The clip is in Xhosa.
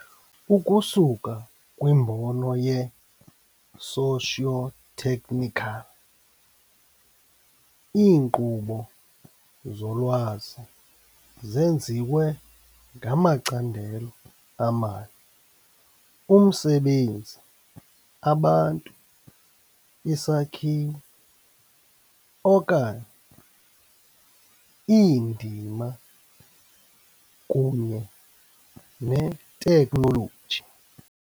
Ukusuka kwimbono ye-sociotechnical, iinkqubo zolwazi zenziwe ngamacandelo amane umsebenzi, abantu, isakhiwo, okanye iindima, kunye neteknoloji.